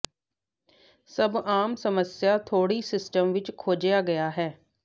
ਸਭ ਆਮ ਸਮੱਸਿਆ ਤੋੜੀ ਸਿਸਟਮ ਵਿੱਚ ਖੋਜਿਆ ਗਿਆ ਹੈ